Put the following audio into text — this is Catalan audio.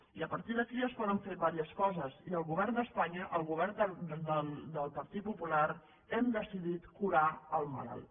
i a partir d’aquí es poden fer diverses coses i el govern d’espanya el govern del partit popular hem decidit curar el malalt